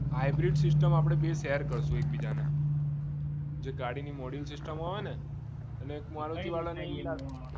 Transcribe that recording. hybrid system આપણે બેઉ share કરશું એક બીજાને જે ગાડીની module system હોય ને અને મારુ જીવન મારુતિ વાળાને